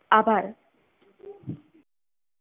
આભાર.